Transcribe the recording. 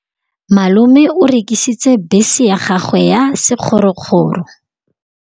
Malome o rekisitse bese ya gagwe ya sekgorokgoro.